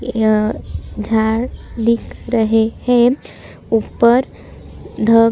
झाड़ दिख रहे है ऊपर ढक--